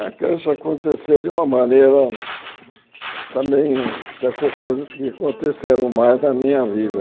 A creche aconteceu de uma maneira também dessas coisas que aconteceram mais na minha vida.